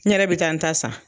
N yɛrɛ bɛ taa n ta san